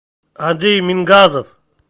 андрей мингазов